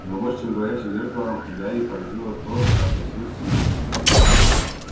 но больше чем говорящее зеркало гарри поразило то как носилось семейство